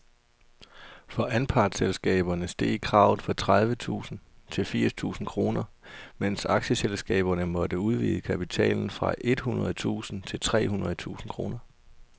For anpartsselskaberne steg kravet fra tredive tusind til firs tusind kroner, mens aktieselskaberne måtte udvide kapitalen fra et hundrede tusind til tre hundrede tusind kroner.